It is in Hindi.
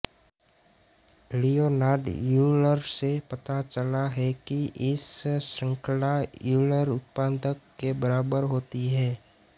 लियोनार्ड यूलर से पता चला है कि इस श्रृंखला यूलर उत्पाद के बराबर होती है